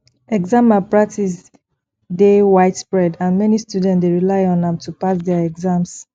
exam malpractice dey widespread and many students dey rely on am to pass dia exams